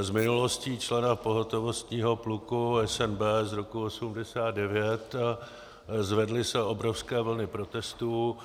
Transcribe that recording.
s minulostí člena pohotovostního pluku SNB z roku 1989, zvedly se obrovské vlny protestů.